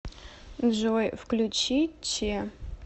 джой включи че